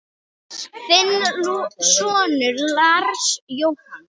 Þinn sonur, Lars Jóhann.